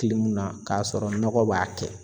na kasɔrɔ nɔgɔ b'a kɛ.